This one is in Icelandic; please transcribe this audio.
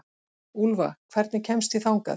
Úlfa, hvernig kemst ég þangað?